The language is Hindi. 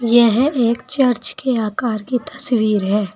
यह एक चर्च के आकार की तस्वीर है।